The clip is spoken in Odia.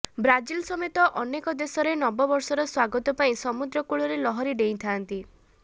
ବ୍ରାଜିଲ ସମେତ ଅନେକ ଦେଶରେ ନବବର୍ଷର ସ୍ୱାଗତ ପାଇଁ ସମୁଦ୍ର କୂଳରେ ଲହରି ଡ଼େଇଁ ଥାଆନ୍ତି